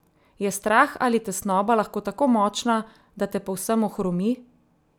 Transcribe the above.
Je strah ali tesnoba lahko tako močna, da te povsem ohromi?